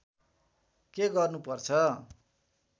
के गर्नु पर्छ